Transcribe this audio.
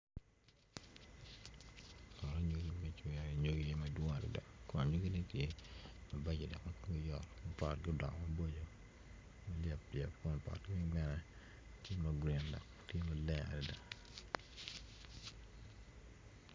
Poto anyogi ma kicoyo i anyogi madwong ata kun anyogine tye mabeco dok ma komgi yot ma potogi odongo maboco ni yap yap ma potgi weng bene tye ma grin dok tye maleng adada